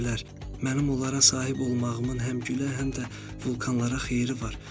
Mənim onlara sahib olmağımın həm gülə, həm də vulkanlara xeyiri var.